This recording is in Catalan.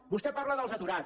vostè parla dels aturats